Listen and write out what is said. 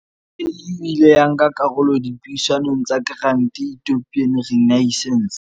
AU e ile ya nka karolo dipuisanong tsa Grand Ethiopian Renaissance.